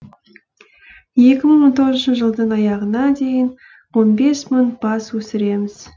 екі мың он тоғызыншы жылдың аяғына дейін он бес мың бас өсіреміз